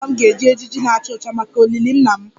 Ezinụlọ m ga-eji ejiji na-acha ọcha maka olili nna m